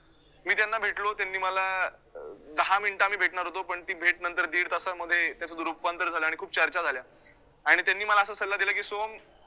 मी त्यांना भेटलो, त्यांनी मला अं दहा minutes आम्ही भेटणार होतो, पण ती भेट नंतर दीड तासांमध्ये त्याचं रूपांतर झालं आणि खूप चर्चा झाल्या आणि त्यांनी मला असा सल्ला दिला की so